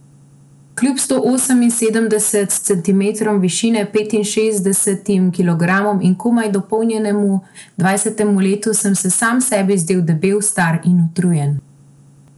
Kljub sto oseminsedemdeset centimetrom višine, petinšestdesetim kilogramom in komaj dopolnjenemu dvajsetemu letu, sem se sam sebi zdel debel, star in utrujen.